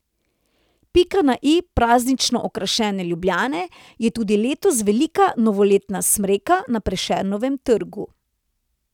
Pika na i praznično okrašene Ljubljane je tudi letos velika novoletna smreka na Prešernovem trgu.